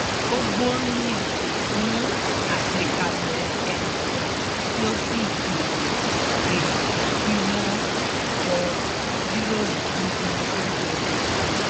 ó gbóríyìn fún àgbékalẹ̀ ẹnìkan tí ó sì pè é pé kí wọ́n jọ jíròrò níbi oúnjẹ ọ̀sán